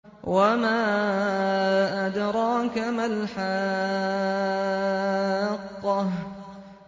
وَمَا أَدْرَاكَ مَا الْحَاقَّةُ